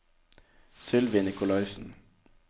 Sylvi Nicolaysen